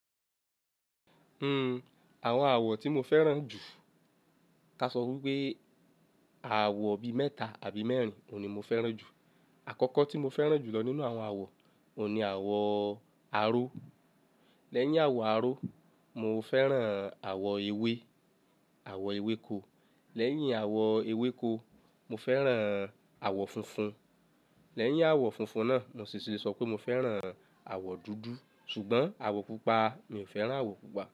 Uhm, àwọn àwọ̀ tí mo fẹ́ràn jù, ká sọ wípé àwọ̀ bi mẹ́ta àbí mẹ́rin ni mo fẹ́ràn jù. Àkọ́kọ́ tí mo fẹ́ràn jù lọ nínú àwọn àwọ̀, òun ni àwọ̀ aró. Lẹ́yìn àwọ̀ aró, mo fẹ́ràn àwọ̀ ewé, àwọ̀ ewéko. Lẹ́yìn àwọ̀ ewéko, mo fẹ́ràn àwọ̀ funfun. Lẹ́yìn àwọ̀ funfun náà, mo sì le sọ pé mo fẹ́ràn àwọ̀ dúdú. Ṣùgbọ́n àwọ̀ pupa, mi ò fẹ́ràn àwọ̀ pupa.